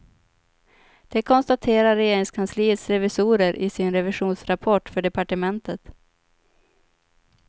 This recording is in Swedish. Det konstaterar regeringskansliets revisorer i sin revisionsrapport för departementet.